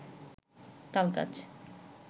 তালগাছ